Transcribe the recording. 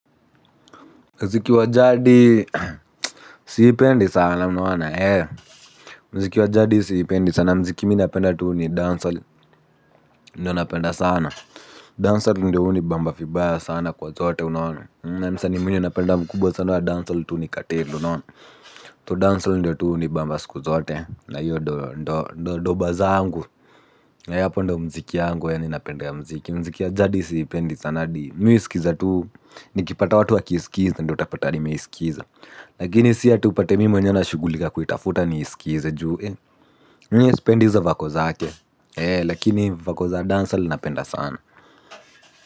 Mziki wa jadi siipendi sana unaona eh. Mziki wajadi siipendi sana. Mziki mi napenda tu ni Dancehall. Ndio napenda sana. Dancehall ndio hunibamba vibaya sana kwa zote unaona. Na msani mwenyo napenda mkubwa sana wa Dancehall tu ni katelo unaona. So dancehalll ndio tu hunibamba siku zote na hio ndo doba zangu nayapo ndo mziki yangu ya ninapenda ya mziki. Mziki ya jadi siipendi sana adi mimi husikiza tuu. Nikipata watu wakiskiza ndio utapata nimeisikiza. Lakini siati upate mimi mwenyewe na shugulika kuitafuta niisikize ju eh miye sipendi hizo vako zake lakini vako za dancehall napenda sana.